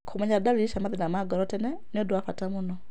Kũmenya dalili cia mathĩna ma ngoro nĩ ũndũ wa bata mũno tene.